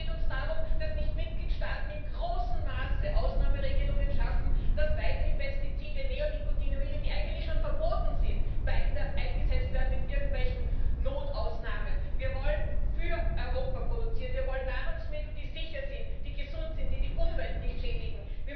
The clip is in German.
Es geht uns darum, dass nicht Mitgliedstaaten in großem Maße Ausnahmeregelungen schaffen, dass weiterhin Pestizide, Neonikotinoide, die eigentlich schon verboten sind, mit irgendwelchen Notausnahmen weiter eingesetzt werden. Wir wollen für Europa produzieren, wir wollen Nahrungsmittel, die sicher sind, die gesund sind, die die Umwelt nicht schädigen.